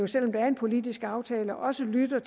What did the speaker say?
selv om der er en politisk aftale også lytter